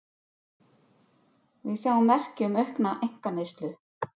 Við sjáum merki um aukna einkaneyslu